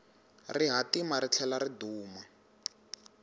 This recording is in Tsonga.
rihatima ri tlhela ri duma